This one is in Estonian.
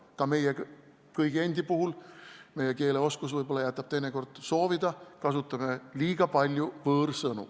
Ka meie endi puhul jätab keeleoskus teinekord võib-olla soovida, kasutame liiga palju võõrsõnu.